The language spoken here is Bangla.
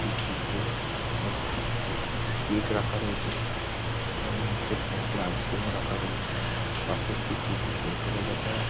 একটি ফ্রিজ -এর মধ্যে কেক রাখা রয়েছে এবং নিচে কয়েকটি আইস ক্রিম রয়েছে পাশে একটি ফুটি -র বোতল ও দেখা যা--